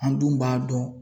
An dun b'a dɔn